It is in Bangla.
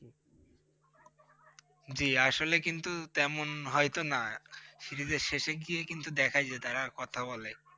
জি! আসলে কিন্তু তেমন হয়তো না, Series এর শেষে গিয়ে কিন্তু দেখা যায় তারা কথা বলে।